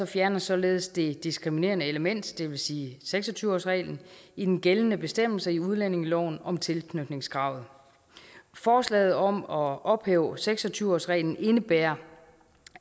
fjernes således det diskriminerende element det vil sige seks og tyve årsreglen i den gældende bestemmelse i udlændingeloven om tilknytningskravet forslaget om at ophæve seks og tyve årsreglen indebærer